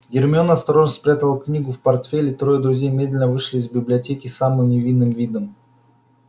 гермиона осторожно спрятала книгу в портфель и трое друзей медленно вышли из библиотеки с самым невинным видом